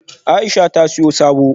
Aisha ta siyo sabo